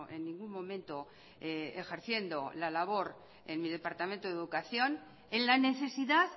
en ningún momento ejerciendo la labor en mi departamento de educación en la necesidad